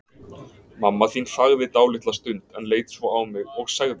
Mamma þín þagði dálitla stund, en leit svo á mig og sagði